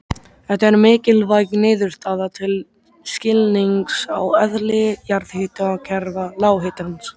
Þetta er mikilvæg niðurstaða til skilnings á eðli jarðhitakerfa lághitans.